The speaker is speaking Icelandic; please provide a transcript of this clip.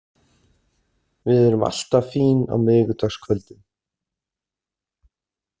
Við erum alltaf fín á miðvikudagskvöldum.